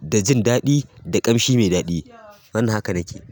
da jin daɗi da ƙamshi mai daɗi. Wannan haka nake.